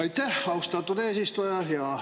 Aitäh, austatud eesistuja!